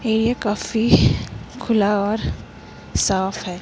Area काफी खुला और साफ है।